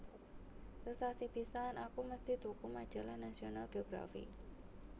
Sesasi pisan aku mesti tuku majalah National Geography